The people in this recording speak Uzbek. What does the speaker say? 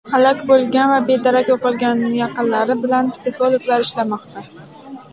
Halok bo‘lgan va bedarak yo‘qolganlarning yaqinlari bilan psixologlar ishlamoqda.